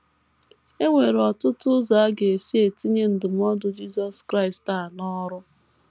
E nwere ọtụtụ ụzọ a ga - esi etinye ndụmọdụ Jisọs Kraịst a n’ọrụ.